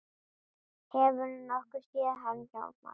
Hefurðu nokkuð séð hann Hjálmar